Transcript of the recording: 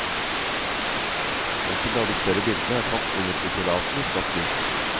Enkelte av de større bildene er tatt under utillatelig flatt lys.